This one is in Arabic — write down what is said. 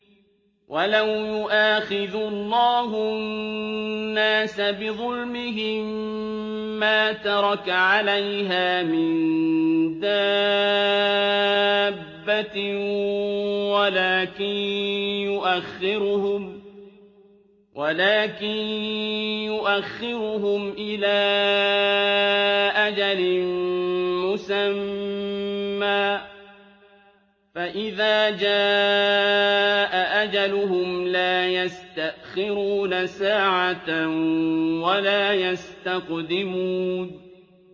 وَلَوْ يُؤَاخِذُ اللَّهُ النَّاسَ بِظُلْمِهِم مَّا تَرَكَ عَلَيْهَا مِن دَابَّةٍ وَلَٰكِن يُؤَخِّرُهُمْ إِلَىٰ أَجَلٍ مُّسَمًّى ۖ فَإِذَا جَاءَ أَجَلُهُمْ لَا يَسْتَأْخِرُونَ سَاعَةً ۖ وَلَا يَسْتَقْدِمُونَ